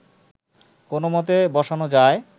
কোনও মতে বসানো যায়